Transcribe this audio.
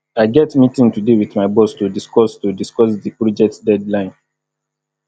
i get meeting today with my boss to discuss to discuss di project deadline